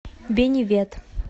бенивет